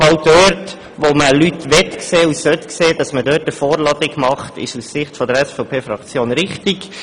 Aus Sicht der SVP-Fraktion ist es richtig, dort eine Vorladung zu machen, wo man Leute sehen will.